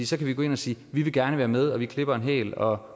så kan vi gå ind og sige vi vil gerne være med og vi klipper en hæl og